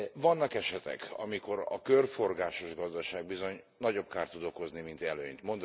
Vannak esetek, amikor a körforgásos gazdaság bizony nagyobb kárt tud okozni, mint előnyt.